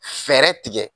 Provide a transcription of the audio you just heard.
Fɛɛrɛ tigɛ